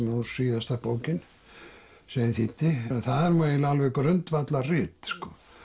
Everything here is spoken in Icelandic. nú síðasta bókin sem ég þýddi en það er nú eiginlega alveg grundvallarrit